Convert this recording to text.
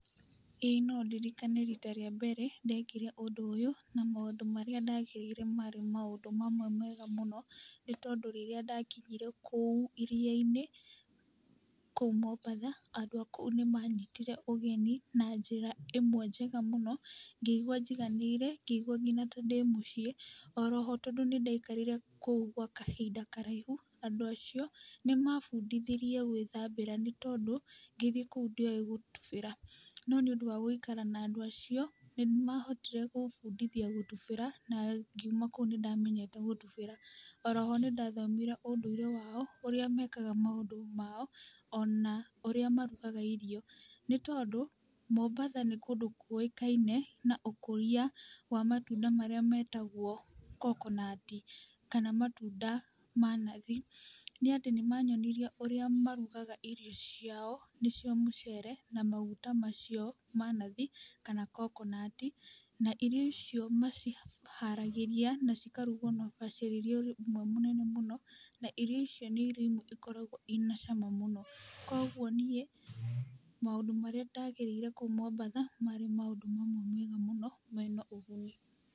Ĩĩ no ndirikane rita rĩa mbere ndekire ũndũ ũyũ, na maũndũ marĩa ndagereire marĩ maũndũ marĩ mamwe mega mũno, nĩ tondũ rĩrĩa ndakinyire kũu iria-inĩ, kũu Mombatha, andũ a kũu nĩ manyitire ũgeni, na njĩra ĩmwe njega mũno, ngĩigwa njiganĩire, ngĩigwa nginya ka ndĩmũciĩ, o roho tondũ nĩ ndaikarire kũndũ kũu gwa kahinda karaihu, andũ acio nĩ mabundithirie gwĩthambĩra, nĩ tondũ ngĩthiĩ kũu ndiowe gũtubĩra, no nĩ ũndũ wa gũikara na andũ acio, nĩ mahotire gũbundithia gũtubĩra na mgiuma kũu nĩ ndamenyete gũtubĩra, o roho nĩ ndathomire ũndũire wao, ũrĩa mekaga maũndũ mao, ona ũrĩa marugaga irio, nĩ tondũ, Mombatha nĩ kũndũ kũĩkaine na ũkũria wa matunda marĩa metagwo kokonati, kana matunda ma nathi, nĩ atĩ nĩ mayonirie ũrĩa marugaga irio ciao , nĩ cio mũcere na maguta macio ma nathi, kana kokonati, na irio icio maciharagĩria cikarugwo na ubacirĩri ũmwe mũnene mũno, na irio icio nĩ irio imwe ikoragwo ina cama mũno, koguo niĩ maũndũ marĩa ndagereire kũu Mombatha marĩ maũndũ mamwe mega mũno mena ũguni.